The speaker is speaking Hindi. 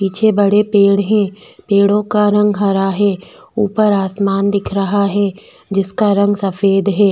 पीछे बड़े पेड़ है पेड़ो का रंग हरा है ऊपर आसमान दिख रहा है जिसका रंग सफ़ेद है।